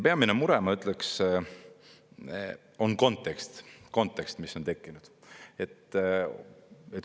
Peamine mure, ma ütleksin, on kontekst, mis on tekkinud.